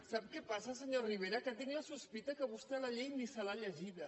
sap què passa senyor rivera que tinc la sospita que vostè la llei ni se l’ha llegida